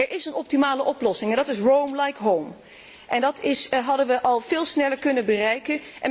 Er is een optimale oplossing en dat is roam like home en dat hadden we al veel sneller kunnen bereiken.